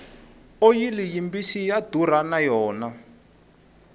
oyili yi mbisi ya durha na yona